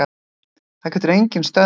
Það getur enginn stöðvað þetta